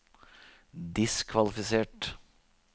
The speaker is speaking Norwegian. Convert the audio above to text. diskvalifisert